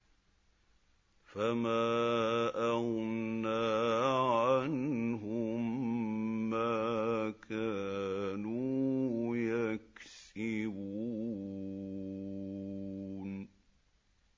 فَمَا أَغْنَىٰ عَنْهُم مَّا كَانُوا يَكْسِبُونَ